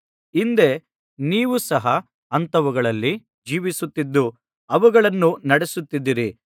ಹಿಂದೆ ನೀವು ಸಹ ಅಂಥವುಗಳಲ್ಲಿ ಜೀವಿಸುತ್ತಿದ್ದು ಅವುಗಳನ್ನು ನಡಿಸುತ್ತಿದ್ದಿರಿ